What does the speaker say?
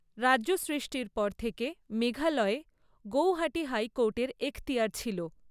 রাজ্য সৃষ্টির পর থেকে মেঘালয়ে গৌহাটি হাইকোর্টের এখতিয়ার ছিল।